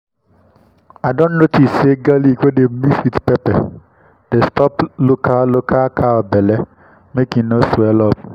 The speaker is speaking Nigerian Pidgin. i don notice say garlic wey dem mix with pepper dey stop local local cow belle make e no swell up.